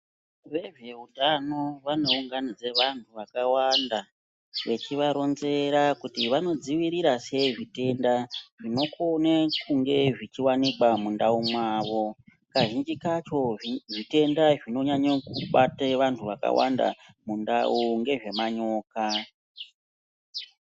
Vezve utano vanounganidza vantu vakawanda vechivaronzera kuti vanodzivirora sei zvitenda zvinokone kunge zvichiwanikwa mundau mwavo kazhinji kacho zvitenda zvinonyanyo kubate vantu vakawanda mundau ngezve manyoka.